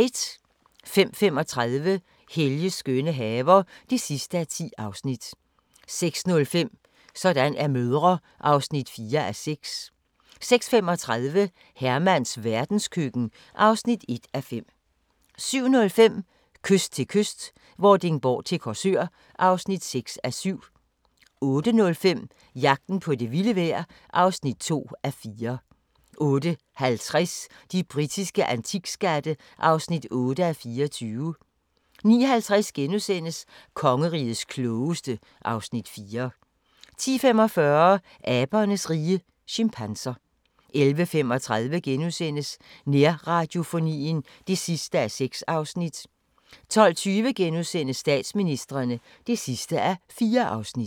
05:35: Helges skønne haver (10:10) 06:05: Sådan er mødre (4:6) 06:35: Hermans verdenskøkken (1:5) 07:05: Kyst til kyst - Vordingborg til Korsør (6:7) 08:05: Jagten på det vilde vejr (2:4) 08:50: De britiske antikskatte (8:24) 09:50: Kongerigets klogeste (Afs. 4)* 10:45: Abernes rige - chimpanser 11:35: Nærradiofonien (6:6)* 12:20: Statsministrene (4:4)*